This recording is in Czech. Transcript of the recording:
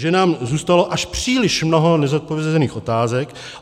Že nám zůstalo až příliš mnoho nezodpovězených otázek.